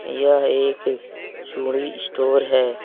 यह एक चूड़ी स्टोर है।